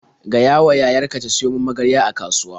Gayawa yayar ka ta siyo min magarya a kasuwa.